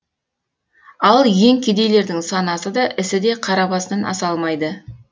ал ең кедейлердің санасы да ісі де қара басынан аса алмайды